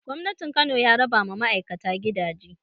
Gwamnatin Kano ya raba ma ma'aikata gidaje